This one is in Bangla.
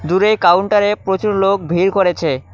দূরে কাউন্টারে প্রচুর লোক ভিড় করেছে।